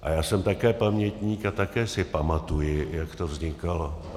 A já jsem také pamětník a také si pamatuji, jak to vznikalo.